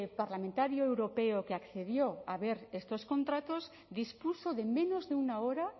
parlamentario europeo que accedió a ver estos contratos dispuso de menos de una hora